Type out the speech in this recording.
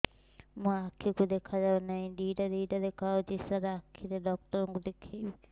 ମୋ ଆଖିକୁ ଦେଖା ଯାଉ ନାହିଁ ଦିଇଟା ଦିଇଟା ଦେଖା ଯାଉଛି ସାର୍ ଆଖି ଡକ୍ଟର କୁ ଦେଖାଇବି